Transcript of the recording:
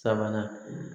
Sabanan